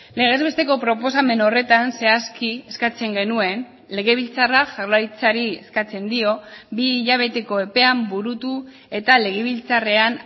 legez besteko proposamen horretan zehazki eskatzen genuen legebiltzarrak jaurlaritzari eskatzen dio bi hilabeteko epean burutu eta legebiltzarrean